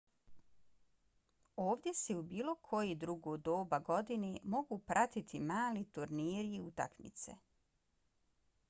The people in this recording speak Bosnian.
ovdje se i u bilo koje drugo doba godine mogu pratiti mali turniri i utakmice